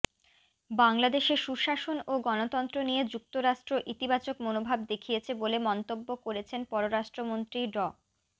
বাংলাদেশে সুশাসন ও গণতন্ত্র নিয়ে যুক্তরাষ্ট্র ইতিবাচক মনোভাব দেখিয়েছে বলে মন্তব্য করেছেন পররাষ্ট্রমন্ত্রী ড